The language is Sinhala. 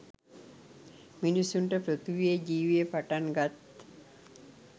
මිනිසුන්ට පෘථීවියේ ජීවය පටන් ගත්